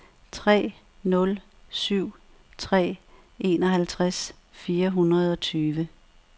tre nul syv tre enoghalvtreds fire hundrede og tyve